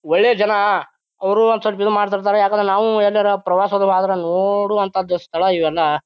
ಒಳ್ಳೆ ಜನ ಅವ್ರು ಒಂದ್ ಸ್ವಲ್ಪ ಇದು ಮಾಡ್ತಿರ್ತಾರ ಯಾಕಂದ್ರ ನಾವು ಯಲ್ಲರ ಪ್ರವಾಸ ಹೋದ್ರೆ ನೋಡುವಂತಹದ್ದು ಸ್ಥಳ ಇವೆಲ್ಲ.